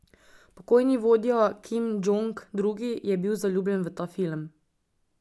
Pokojni vodja Kim Džong Il je bil zaljubljen v ta film.